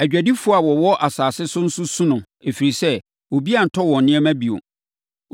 “Adwadifoɔ a wɔwɔ asase so nso su no ɛfiri sɛ, obiara ntɔ wɔn nneɛma bio.